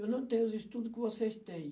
Eu não tenho os estudo que vocês têm.